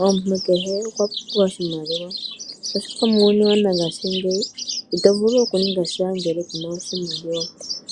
Omuntu kehe okwa pumbwa oshimaliwa, oshoka muuyuni wongashingeyi ito vulu okuninga sha ngele ku na oshimaliwa.